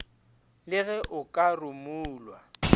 le ge o ka rumulwa